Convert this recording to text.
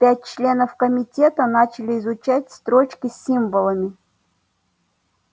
пять членов комитета начали изучать строчки с символами